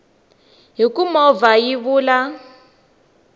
hi ku movha hi vula